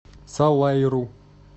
салаиру